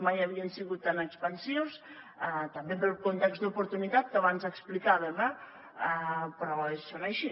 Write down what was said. mai havien sigut tan expansius també pel context d’oportunitat que abans explicàvem eh però són així